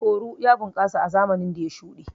Oru ya bunƙasa a zamanin da ya shuɗe.